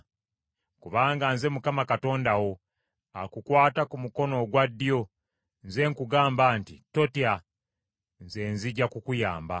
Kubanga nze Mukama Katonda wo akukwata ku mukono ogwa ddyo, nze nkugamba nti, Totya nze nzija kukuyamba.